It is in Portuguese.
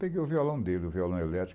Peguei o violão dele, o violão elétrico.